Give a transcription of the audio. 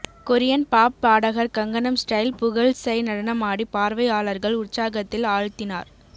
Korean pop பாடகர் Gangnam style புகழ் Psy நடனமாடி பார்வையாளர்கள் உற்சாகத்தில் ஆழ்த்தினார்